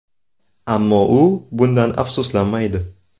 Ammo u bundan afsuslanmaydi.